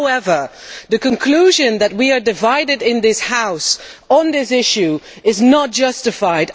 However, the conclusion that we are divided in this House on this issue is not justified.